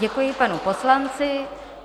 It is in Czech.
Děkuji panu poslanci.